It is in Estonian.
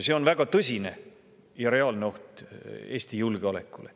See on väga tõsine ja reaalne oht Eesti julgeolekule.